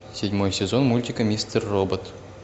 седьмой сезон мультика мистер робот